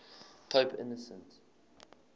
pope innocent